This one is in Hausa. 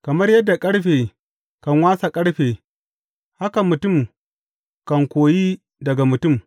Kamar yadda ƙarfe kan wasa ƙarfe haka mutum kan koyi daga mutum.